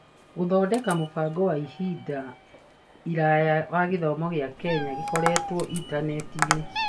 Gũthondeka mũbango wa ihinda iraya wa gĩthomo gĩa Kenya gĩkorĩtwo intaneti-inĩ